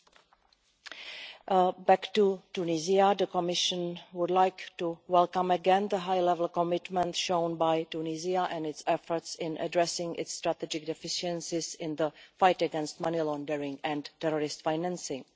Turning back to Tunisia, the Commission would like to welcome again the high-level commitment shown by Tunisia and its efforts in addressing its strategic deficiencies in the fight against money laundering and terrorist financing.